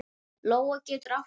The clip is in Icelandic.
Lóa getur átt við